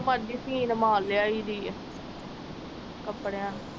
ਮੜ ਜੀ ਸੀਣ ਮਾਰ ਲੈ ਆਈ ਦੀ ਏ ਕੱਪੜਿਆਂ ਨੂੰ